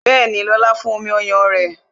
Bẹẹni, lóla fún omi ọyàn rẹ